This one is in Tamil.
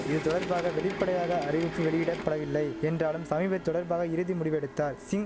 இதுதொடர்பாக வெளிப்படையாக அறிவிப்பு வெளியிட படவில்லை என்றாலும் சமீப தொடர்பாக இறுதி முடிவெடுத்தார் சிங்